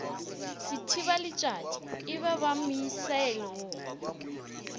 sethibaletšatši e ba misaele wo